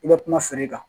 I bɛ kuma feere kan